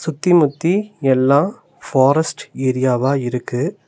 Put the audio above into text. சுத்திமுத்தி எல்லா பாரஸ்ட் ஏரியாவா இருக்கு.